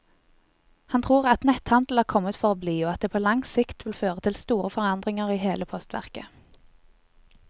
Han tror at netthandel er kommet for å bli og at det på lang sikt vil føre til store forandringer i hele postverket.